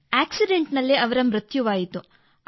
accident ನಲ್ಲಿ ಅವರ ಮೃತ್ಯುವಾಯಿತು